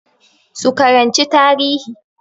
Su karanci tarihi